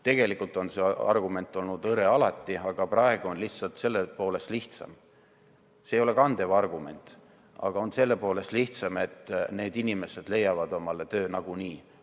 Tegelikult on see argument olnud alati hõre, aga praegu on lihtsalt selle poolest lihtsam – see ei ole kandev argument –, et need inimesed leiavad omale töö nagunii.